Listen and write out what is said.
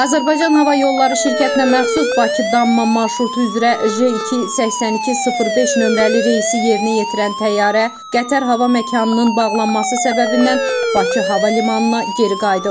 Azərbaycan Hava Yolları şirkətinə məxsus Bakı-Dammam marşrutu üzrə J2 8205 nömrəli reysi yerinə yetirən təyyarə Qətər hava məkanının bağlanması səbəbindən Bakı hava limanına geri qayıdıb.